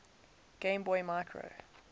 game boy micro